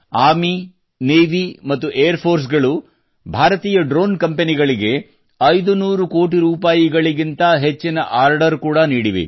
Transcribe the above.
army navy ಮತ್ತು air force ಗಳು ಭಾರತೀಯ ಡ್ರೋನ್ ಕಂಪೆನಿಗಳಿಗೆ 500 ಕೋಟಿ ರೂಪಾಯಿಗಿಂತ ಹೆಚ್ಚಿನ ಆರ್ಡರ್ ಕೂಡಾ ನೀಡಿವೆ